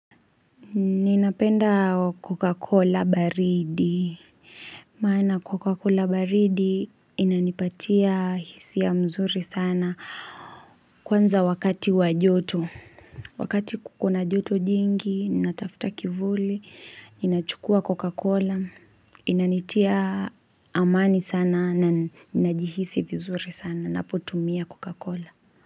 Ninapenda coca cola baridi maana coca cola baridi inanipatia hisia mzuri sana Kwanza wakati wajoto Wakati kukona joto jingi ninatafuta kivuli ninachukua coca cola Inanitia amani sana na ninajihisi vizuri sana napotumia coca cola.